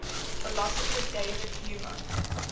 philosopher david hume